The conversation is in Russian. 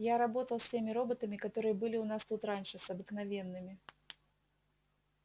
я работал с теми роботами которые были у нас тут раньше с обыкновенными